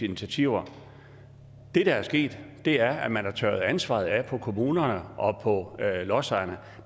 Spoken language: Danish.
initiativer det der er sket er at man har tørret ansvaret af på kommunerne og på lodsejerne